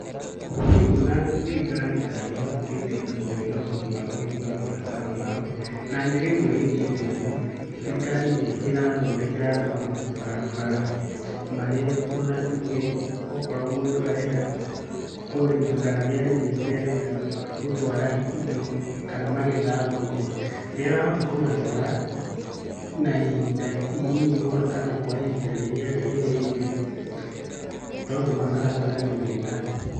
Nii nguona thirikari ta ĩhotithitie andu kũgĩa na ũhoti wa kũhingia mabataro mao. Na njĩra ĩmwe ĩkĩte ũguo, thirikari nĩ ĩrathondekera andũ mabarabara, marĩa ona tuge okorwo mũndũ arenda kũrĩma kana nĩ arĩmĩte arenda gũtwara indo kana magetha thoko. Nĩ arahota kũmatwara na ihinda inini mũno, kana kwa ihinda rĩrĩa rĩagĩrĩire. Tondũ mabarabara nĩ mega.